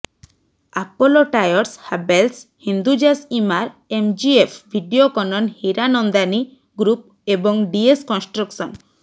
Apollo tyres Havells Hindujas Emaar MGF Videocon Hiranandani group ଏବଂ DS construction